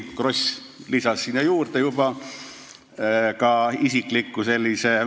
Kross lisas sinna juurde juba ka sellise isikliku ...